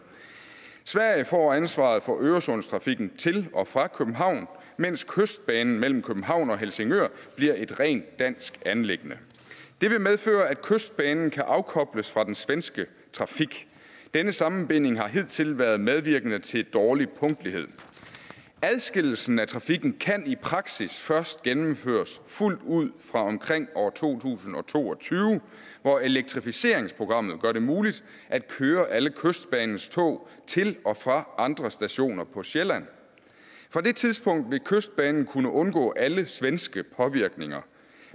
sverige får ansvaret for øresundstrafikken til og fra københavn mens kystbanen mellem københavn og helsingør bliver et rent dansk anliggende det vil medføre at kystbanen kan afkobles fra den svenske trafik denne sammenbinding har hidtil været medvirkende til dårlig punktlighed adskillelsen af trafikken kan i praksis først gennemføres fuldt ud fra omkring år to tusind og to og tyve hvor elektrificeringsprogrammet gør det muligt at køre alle kystbanens tog til og fra andre stationer på sjælland på det tidspunkt vil kystbanen kunne undgå alle svenske påvirkninger